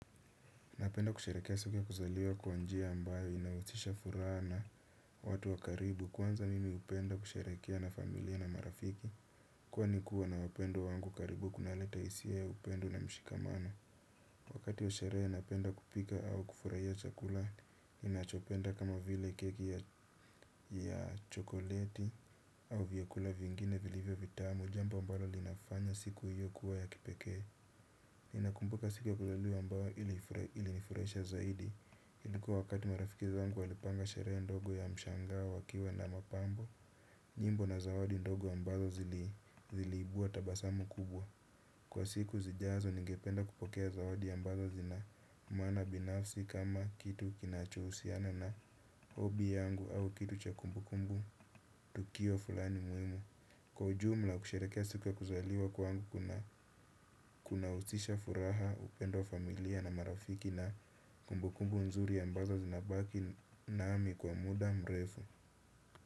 Napenda kusherekea siku ya kuzaliwa kwa njia ambayo inahusisha furaha na watu wa karibu. Kwanza mimi hupenda kusherehekea na familia na marafiki. Kwani kua na wapendwa wangu karibu kunaleta hisia upendo na mshikamano. Wakati wa sherehe napenda kupika au kufurahia chakula, ninachopenda kama vile keki ya chokoleti au vyakula vingine vilivyo vitamu, jambo ambalo linafanya siku hiyo kuwa ya kipekee. Ninakumbuka siku ya kuzaliwa ambayo ili nifurahisha zaidi ilikuwa wakati marafiki zangu walipanga sherehe ndogo ya mshangao wakiwa na mapambo nyimbo na zawadi ndogo ambazo ziliibua tabasamu kubwa. Kwa siku zijazo ningependa kupokea zawadi ambazo zina mwana binafsi kama kitu kinachohusiana na hobby yangu au kitu cha kumbu kumbu. Tukio fulani muhimu kwa ujumla kusherehekea siku ya kuzaliwa kwangu kuna husisha furaha, upendo wa familia na marafiki na kumbukumbu nzuri ambazo zinabaki nami kwa muda mrefu.